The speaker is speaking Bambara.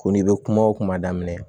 Ko n'i bɛ kuma o kuma daminɛ